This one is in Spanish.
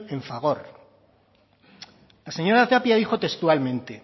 en fagor la señora tapia dijo textualmente